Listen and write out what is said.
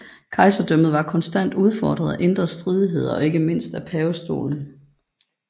Kejserdømmet var konstant udfordret af indre stridigheder og ikke mindst af pavestolen